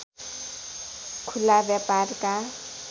खुला व्यापारका